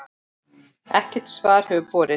Ekkert svar hefur borist.